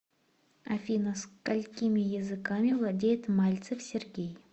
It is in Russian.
афина сколькими языками владеет мальцев сергей